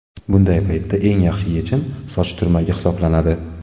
Bunday paytda eng yaxshi yechim – soch turmagi hisoblanadi.